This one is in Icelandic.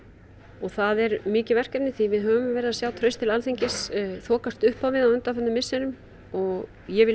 og það er mikið verkefni því við höfum verið að sjá traust til Alþingis þokast uppá við á undanförnum misserum og ég vil